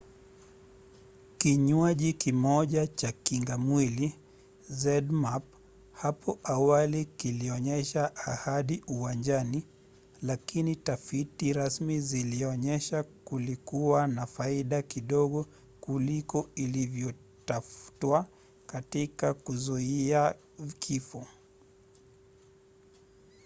kinywaji kimoja cha kingamwili zmapp hapo awali kilionyesha ahadi uwanjani lakini tafiti rasmi zilionyesha kilikuwa na faida kidogo kuliko ilivyotafutwa katika kuzuia kifo